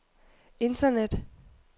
internet